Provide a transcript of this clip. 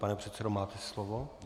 Pane předsedo, máte slovo.